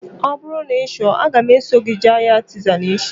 Ọ bụrụ na ị chọrọ, aga m eso gị jee ahịa Artizan echi